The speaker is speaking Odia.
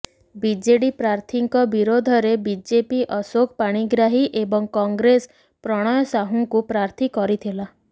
ବିଜେଡି ପ୍ରାର୍ଥୀଙ୍କ ବିରୋଧରେ ବିଜେପି ଅଶୋକ ପାଣିଗ୍ରାହୀ ଏବଂ କଂଗ୍ରେସ ପ୍ରଣୟ ସାହୁଙ୍କୁ ପ୍ରାର୍ଥୀ କରିଥିଲା